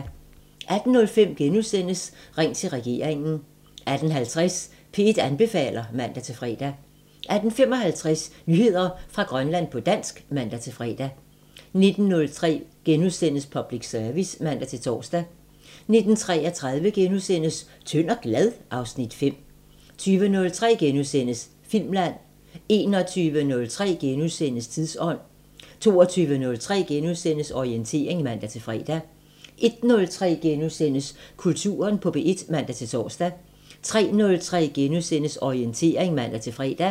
18:05: Ring til regeringen * 18:50: P1 anbefaler (man-fre) 18:55: Nyheder fra Grønland på dansk (man-fre) 19:03: Public Service *(man-tor) 19:33: Tynd og glad? (Afs. 5)* 20:03: Filmland * 21:03: Tidsånd * 22:03: Orientering *(man-fre) 01:03: Kulturen på P1 *(man-tor) 03:03: Orientering *(man-fre)